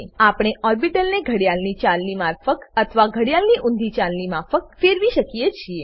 આપણે ઓર્બીટલને ઘડિયાળની ચાલની માફક અથવા ઘડિયાળની ઉંધી ચાલની માફક ફેરવી શકીએ છીએ